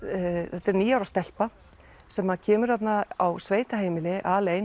þetta er níu ára stelpa sem kemur þarna á sveitaheimili